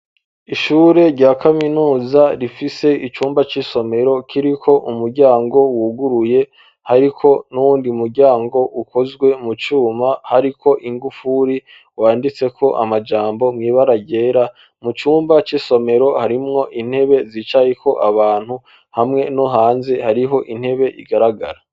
Ishure rya kaminuza rifise icumba c'isomero kiriko umuryango wuguruye, hariko n'uwundi muryango ukozwe mu cuma hariko ingufuri ,wanditseko amajambo mw'ibara ryera ,mu cumba c'isomero harimwo intebe zicayeko abantu hamwe no hanze hariho intebe igaragara.